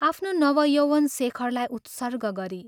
आफ्नो नवयौवन शेखरलाई उत्सर्ग गरी।